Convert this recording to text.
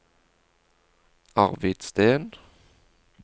Arvid Steen